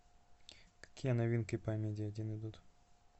какие новинки по амедиа один идут